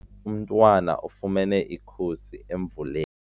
Umntwana ufumene ikhusi emvuleni.